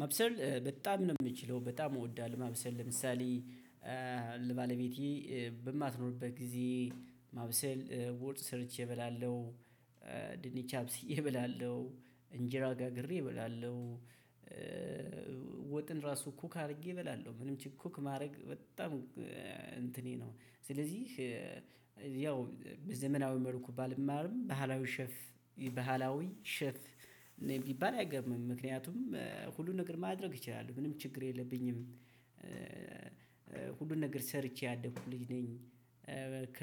ማብሰር በጣም ነው የምችለው በጣም እወዳለሁ ማብሰር ለምሳሌ ባለቤቴ በማትኖርበት ጊዜ ማብሰል ወጥ ሰርቼ እበላለሁ ድንች አብስዬ እበላለሁ እንጅራ ጋግሬ እበላለሁ። ወጥን ራሱ ኩክ አድርጌ እበላለሁ ምንም ችግር ኩክ ማድረግ በጣም እንትኔ ነው። ስለዚህ ያው በዘመናዊ መልኩ ባልማርም ባህላዊ ሸፍ ባህላዊ ሸፍ እኔ ቢባል አይገርምም ምክንያቱም ሁሉን ነገር ማድረግ ይችላሉ ምንም ችግር የለብኝም። ሁሉን ነገር ሰርቼ ያደኩ ልጅ ነኝ። ከ